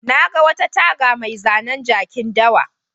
Na ga wata taga mai zanen jakin dawa.